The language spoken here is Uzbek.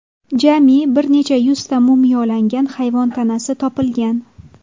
Jami bir necha yuzta mumiyolangan hayvon tanasi topilgan.